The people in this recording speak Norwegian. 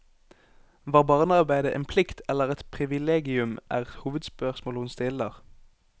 Var barnearbeide en plikt eller et privilegium, er hovedspørsmålet hun stiller.